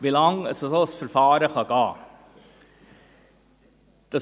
Wie lange ein solches Verfahren dauern kann: